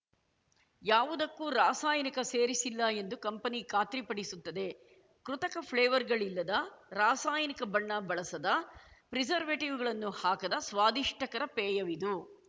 ಯಾವುದಕ್ಕೂ ರಾಸಾಯನಿಕ ಸೇರಿಸಿಲ್ಲ ಎಂದು ಕಂಪೆನಿ ಖಾತ್ರಿ ಪಡಿಸುತ್ತದೆ ಕೃತಕ ಫ್ಲೇವರ್‌ಗಳಿಲ್ಲದ ರಾಸಾಯನಿಕ ಬಣ್ಣ ಬಳಸದ ಪ್ರಿಸರ್ವೇಟಿವ್‌ಗಳನ್ನು ಹಾಕದ ಸ್ವಾದಿಷ್ಟಕರ ಪೇಯವಿದು